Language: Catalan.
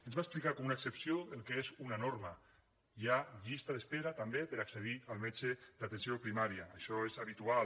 ens va explicar com una excepció el que és una norma hi ha llista d’espera també per accedir al metge d’atenció primària això és habitual